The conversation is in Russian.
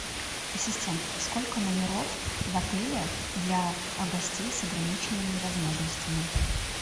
ассистент сколько номеров в отеле для гостей с ограниченными возможностями